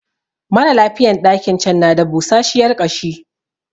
Maralafiyan ɗakin can na da busashiyar ƙashi